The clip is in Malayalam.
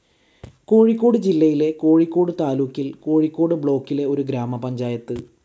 കോഴിക്കോട് ജില്ലയിലെ കോഴിക്കോട് താലൂക്കിൽ കോഴിക്കോട് ബ്ളോക്കിലെ ഒരു ഗ്രാമപഞ്ചായത്ത്.